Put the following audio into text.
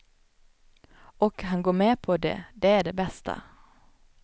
Och han går med på det, det är det bästa.